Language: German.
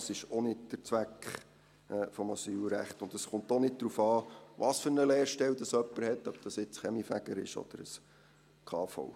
Das ist auch nicht der Zweck des Asylrechts, und es kommt auch nicht darauf an, welche Art Lehrstelle jemand hat, sei dies jetzt als Kaminfeger oder ein KV-Lehrstelle.